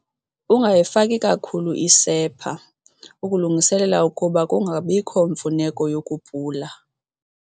Ungayifaki kakhulu isepha, ukulungisela ukuba kungabiko mfuneko yokupula.